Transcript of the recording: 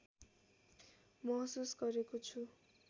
महसुस गरेको छु